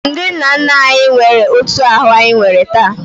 Ndị nna nna anyị nwere otu ahụ anyị nwee taa